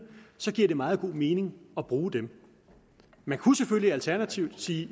giver det meget god mening at bruge dem man kunne selvfølgelig alternativt sige